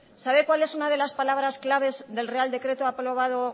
sabe cuál es una de las palabras claves del real decreto aprobado